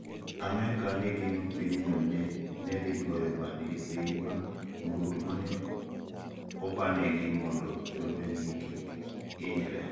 Amerka Negeno pinyno nedhigoyo badgi piny bang' mrutu mane obanegi mondo jolwenjgi kik inyre.